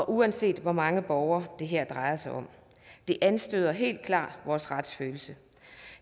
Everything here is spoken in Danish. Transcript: uanset hvor mange borgere det her drejer sig om det anstøder helt klart vores retsfølelse